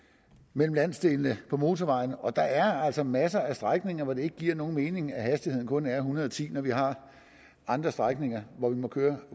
mellem landsdelene på motorvejene og der er altså masser af strækninger hvor det ikke giver nogen mening at hastigheden kun er en hundrede og ti når vi har andre strækninger hvor man må køre